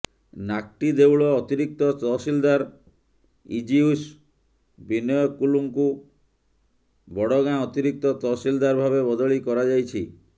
ନାକ୍ଟିଦେଉଳ ଅତିରିକ୍ତ ତହସିଲଦାର ଇଜୟୁସ୍ ବିନୟ କୁଲ୍ଲୁଙ୍କୁ ବଡଗାଁ ଅତିରିକ୍ତ ତହସିଲଦାର ଭାବେ ବଦଳି କରାଯାଇଛି